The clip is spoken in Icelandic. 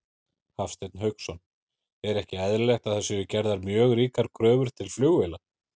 Hafsteinn Hauksson: Er ekki eðlilegt að það séu gerðar mjög ríkar kröfur til flugvéla?